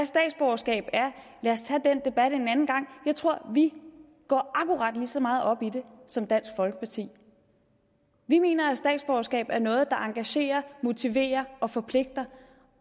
statsborgerskab er en anden gang jeg tror at vi går akkurat lige så meget op i det som dansk folkeparti vi mener at statsborgerskab er noget der engagerer motiverer og forpligter